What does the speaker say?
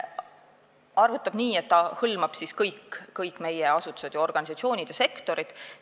Ta arvutab seda nii, et hõlmab kõik meie asutused ja organisatsioonid ning sektorid.